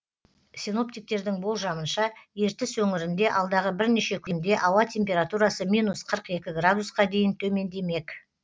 синоптиктердің болжамынша ертіс өңірінде алдағы бірнеше күнде ауа температурасы минус қырық екі градусқа дейін төмендемек